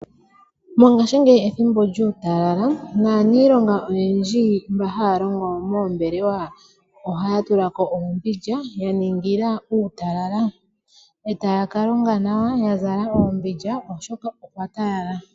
Mongaashingeyi ethimbo lyuutalala naaniilonga oyendji mba haa longo moombelewa ohaa tula ko oombindja ya ningila uutalala, e taya ka longa nawa ya zala oombindja oshoka okwa talala.